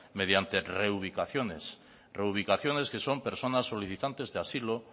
mediante reubicaciones reubicaciones que son personas solicitantes de asilo